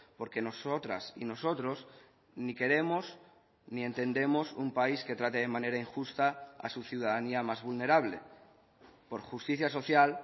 porque nosotras y nosotros ni queremos ni entendemos un país que trate de manera injusta a su ciudadanía más vulnerable por justicia social